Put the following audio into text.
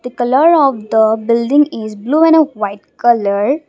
the colour of the building is blue and a white colour.